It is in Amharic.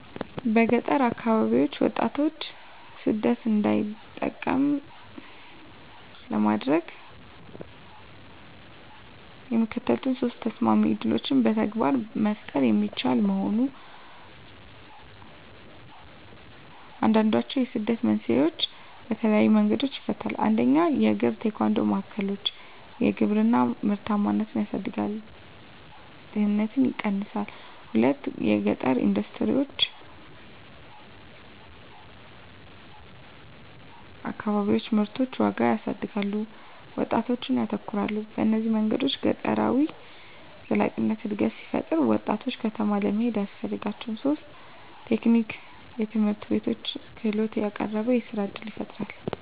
በገጠር አከባቢዎች ወጣቶች ሰደት እንዳይጠቀሙ ለማድረግ፣ የሚከተሉት ሶስት ተሰማሚ ዕድሎች በተግባር መፈጠሩ የሚችሉ መሆን፣ አንዱንድችዉ የስደትን መንስኤዎች በተለየዪ መንገዶች ይፈታል። 1 የእግራ-ቴኳንዶ ማዕከሎች _የግብርና ምርታማነትን ያሳድጋል፣ ድህነትን ይቀነሳል። 2 የገጠረ ኢንደስትሪዎች_ አከባቢዎች ምርቶችን ዋጋ ያሳድጋሉ፣ ወጣቶች ያተኮራሉ። በእነዚህ መንገዶች ገጠራዊ ዘላቂነት አድነት ሲፈጠራ፣ ወጣቶች ከተማ ለመሄድ አያስፈልጋቸውም ; 3 የቴክኒክ ትምህርትቤቶች _ክህሎትን ያቀረበሉ፣ የሥራ እድል ይፈጣራል።